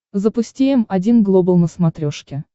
запусти м один глобал на смотрешке